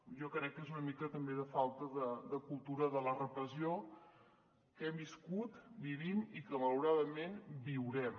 jo crec que és una mica també de falta de cultura de la repressió que hem viscut vivim i que malauradament viurem